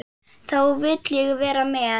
Þá vil ég vera með.